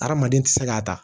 Hadamaden tɛ se k'a ta